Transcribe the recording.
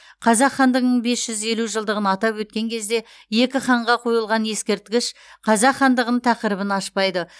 қазақ хандығының бес жүз елу жылдығын атап өткен кезде екі ханға қойылған ескерткіш қазақ хандығының тақырыбын ашпайды